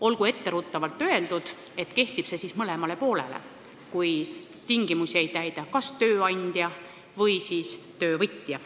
Olgu etteruttavalt öeldud, et see kehtib mõlemale poolele – kui tingimusi ei täida kas tööandja või siis töövõtja.